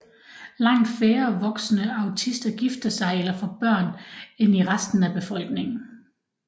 Langt færre voksne autister gifter sig eller får børn end i resten af befolkningen